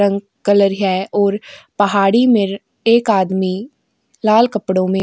रंग कलर है और पहाड़ी में एक आदमी लाल कपड़ों में।